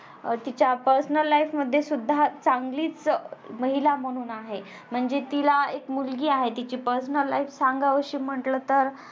तिच्या personal life मध्ये सुद्धा चांगलीच महिला म्हणून आहे. म्हणजे तिला एक मुलगी आहे तिची personal life सांगावीशी म्हटलं तर